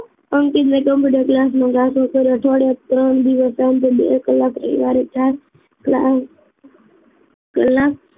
અંકિત ને computer class માં જાતો કર્યો અઠવાડિયા ત્રણ દિવસમાં બે કલાક એ હારે જાત કલાક